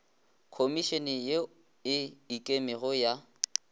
khomišene ye e ikemego ya